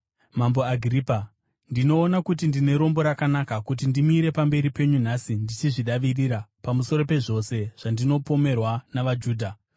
“Mambo Agiripa, ndinoona kuti ndine rombo rakanaka kuti ndimire pamberi penyu nhasi ndichizvidavirira pamusoro pezvose zvandinopomerwa navaJudha,